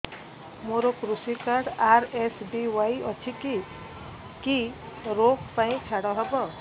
ମୋର କୃଷି card RSBY ଅଛି କି କି ଋଗ ପାଇଁ ଛାଡ଼ ହବ